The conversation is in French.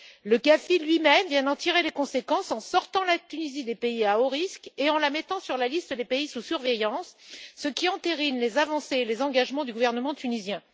Le GAFI lui même vient d'en tirer les conséquences en sortant la Tunisie des pays à haut risque et en la mettant sur la liste des pays sous surveillance, ce qui entérine les avancées et les engagements du gouvernement tunisien.